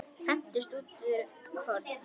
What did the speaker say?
Hendist út í horn.